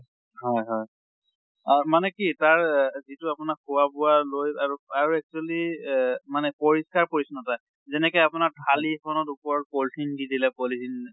হয় হয় মানে কি তাৰ যিটো আপোনাৰ খোৱা বোৱা লৈ আৰু আৰু actually এহ মানে পৰিস্কাৰ পৰিচ্ছ্ন্ন্তা যেনেকে আপোনাৰ থালি খনৰ ওপৰত polythene দি দিলে polythene